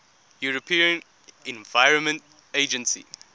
european environment agency